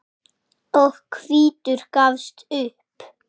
og hvítur gafst upp.